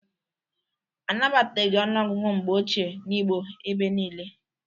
Anabataghị ọnụọgụgụ mgbe ochie n'Igbo ebe niile